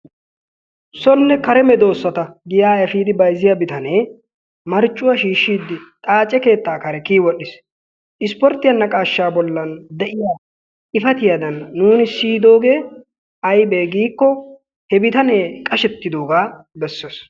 Sonne karee medoosata giyaa efiidi bayzziya biitanee marccuwaa shishidi xaace keettaa kare kiyi wodhdhiis. Isporttiyaa bollan de'iya naaqqashaa bollan de'iya xifatiyadan nuuni siyidoogee aybe giiko he bitane qashshettidoga besees.